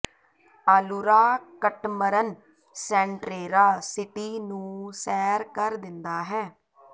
ਆਲੁਰਾ ਕਟਮਰਨ ਸੈਂਟਰੇਰਾ ਸਿਟੀ ਨੂੰ ਸੈਰ ਕਰ ਦਿੰਦਾ ਹੈ